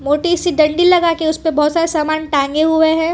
छोटी सी डंडी लगा के उस पे बहुत सारे सामान टांगे हुए है।